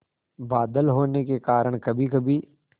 बादल होने के कारण कभीकभी